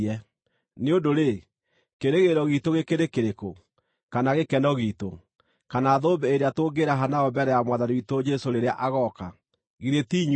Nĩ ũndũ-rĩ, kĩĩrĩgĩrĩro giitũ gĩkĩrĩ kĩrĩkũ, kana gĩkeno giitũ, kana thũmbĩ ĩrĩa tũngĩĩraha nayo mbere ya Mwathani witũ Jesũ rĩrĩa agooka? Githĩ ti inyuĩ?